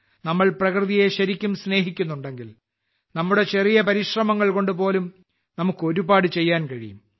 നമ്മൾ പ്രകൃതിയെ ശരിക്കും സ്നേഹിക്കുന്നുണ്ടെങ്കിൽ നമ്മുടെ ചെറിയ പരിശ്രമങ്ങൾ കൊണ്ട് പോലും നമുക്ക് ഒരുപാട് ചെയ്യാൻ കഴിയും